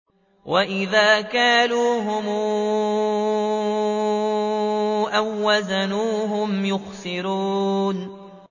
وَإِذَا كَالُوهُمْ أَو وَّزَنُوهُمْ يُخْسِرُونَ